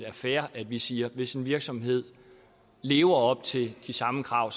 er fair at vi siger at hvis en virksomhed lever op til de samme krav